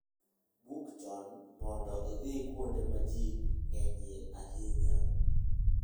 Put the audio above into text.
Buk chon mondo idhi kuonde ma ji ng'enyie ahinya.